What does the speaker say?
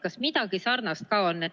Kas midagi sellist ka on?